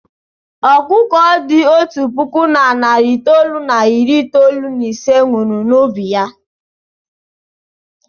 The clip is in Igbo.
Ọkụkọ dị otu puku na narị itoolu na iri itoolu na ise nwụrụ n'ubi ya.